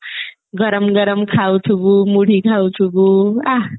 ଗରମ ଗରମ ଖାଉଥିବୁ ମୁଢି ଖାଉଥିବୁ ଆଃ